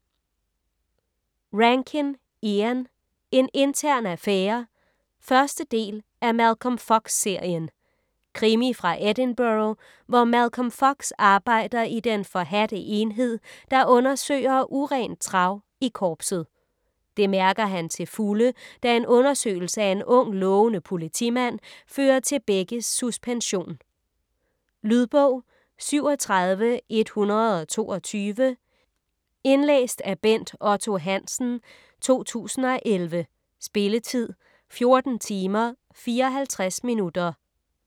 Rankin, Ian: En intern affære 1. del af Malcolm Fox-serien. Krimi fra Edinburgh, hvor Malcolm Fox arbejder i den forhadte enhed, der undersøger urent trav i korpset. Det mærker han til fulde, da en undersøgelse af en ung lovende politimand fører til begges suspension. Lydbog 37122 Indlæst af Bent Otto Hansen, 2011. Spilletid: 14 timer, 54 minutter.